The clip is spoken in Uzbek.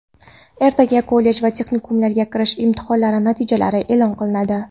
Ertaga kollej va texnikumlarga kirish imtihonlari natijalari eʼlon qilinadi.